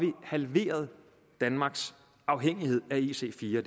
vi halveret danmarks afhængighed af ic4